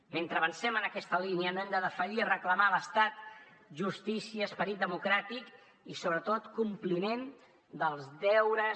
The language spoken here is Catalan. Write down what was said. mentre avancem en aquesta línia no hem de defallir a reclamar a l’estat justícia esperit democràtic i sobretot compliment dels deures